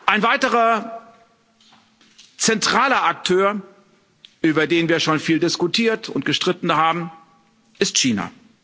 Ein weiterer zentraler Akteur, über den wir schon viel diskutiert und gestritten haben, ist China.